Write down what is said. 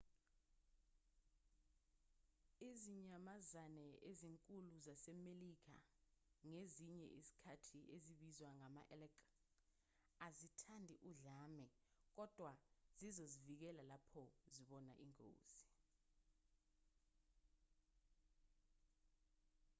izinyamazane ezinkulu zasemelika ngezinye izikhathi ezibizwa ngama-elk azithandi udlame kodwa zizozivikela lapho zibona ingozi